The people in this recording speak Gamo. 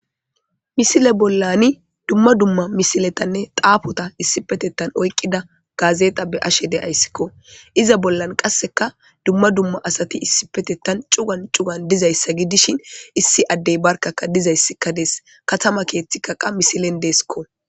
Misile bollani dumma dumma misiletanne xaafota issipetettan oyqqida gaazexa be ashe deayssikko iza bollan qasseka dumma dumma asati issipetettan cugan cugan dizayssa gidishin issi addey barkaka dizayssikka dees katama keeththi kaqa misilen deesikko.